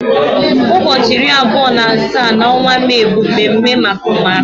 Ụbọchị iri abụọ na asaa n'ọnwa Mee bụ mme mme maka ụmụaka.